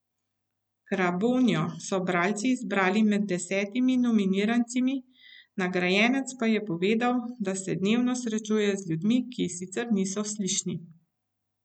Krabonjo so bralci izbrali med desetimi nominiranci, nagrajenec pa je povedal, da se dnevno srečuje z ljudmi, ki sicer niso slišni.